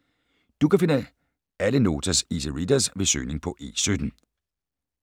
Du kan finde alle Notas Easy Readers ved søgning på E17.